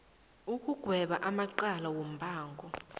ukugweba amacala wombango